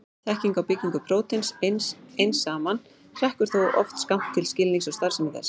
Þekking á byggingu prótíns ein saman hrekkur þó oft skammt til skilnings á starfsemi þess.